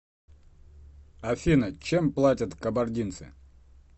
афина чем платят кабардинцы